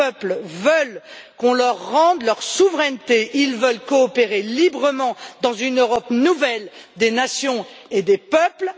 Les peuples veulent qu'on leur rende leur souveraineté, ils veulent coopérer librement dans une Europe nouvelle des nations et des peuples.